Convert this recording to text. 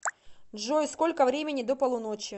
джой сколько времени до полуночи